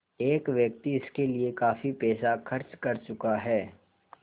एक व्यक्ति इसके लिए काफ़ी पैसा खर्च कर चुका है